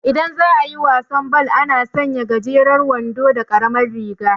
Idan za'ayi wasan bal, ana sanya gajeran wando da karamar riga